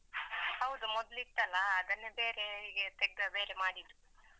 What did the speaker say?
ಹೌದು ಮೊದ್ಲು ಇತ್ತಲ್ಲ ಅದನ್ನ ಬೇರೆ ಹೀಗೆ ತೇಗ್ದು ಬೇರೆ ಮಾಡಿದ್ದು.